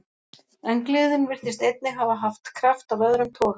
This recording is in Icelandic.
En gleðin virtist einnig hafa haft kraft af öðrum toga.